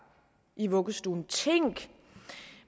i vuggestuen tænk